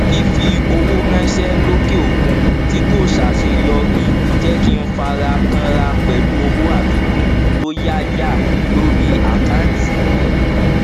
fífowó ránṣẹ lókè òkun tí kò ṣàṣeyọrí jẹ kí n fara kànra pẹlú owó àfikún tó yáyà lórí àkántì mi